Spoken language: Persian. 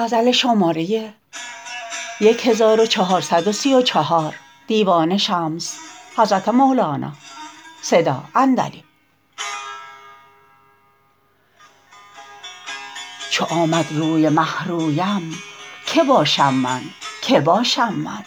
چو آمد روی مه رویم که باشم من که من باشم